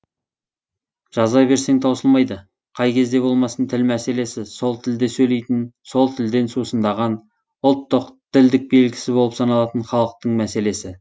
жаза берсең таусылмайды қай кезде болмасын тіл мәселесі сол тілде сөйлейтін сол тілден сусындаған ұлттық ділдік белгісі болып саналатын халықтың мәселесі